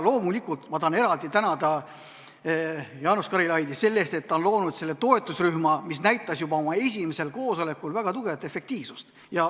Loomulikult tahan eraldi tänada Jaanus Karilaidi selle eest, et ta on loonud selle toetusrühma, mis näitas juba oma esimesel koosolekul väga tugevat efektiivsust.